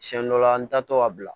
Siɲɛ dɔ la an tatɔ ka bila